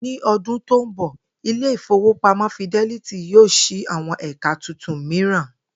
Ní o̩dún tó ń bò̩, ilé ìfowópamó̩ Fidelity yóò s̩i àwo̩n è̩ka tuntun mìíràn